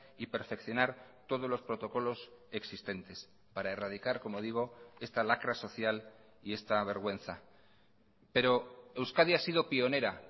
y perfeccionar todos los protocolos existentes para erradicar como digo esta lacra social y esta vergüenza pero euskadi ha sido pionera